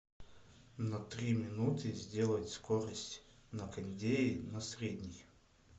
на три минуты сделать скорость на кондее на средний